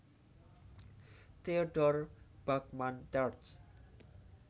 Theodore Bachmann terj